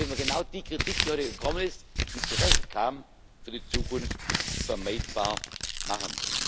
Dann können wir genau die Kritik, die heute gekommen ist, die zu Recht kam, für die Zukunft vermeidbar machen.